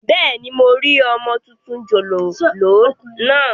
Bẹ́ẹ̀ni, mo rí ọmọ tuntun jòjòló naa